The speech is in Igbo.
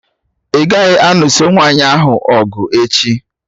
Ị gaghị anụso nwaanyị ahụ ọgụ echi!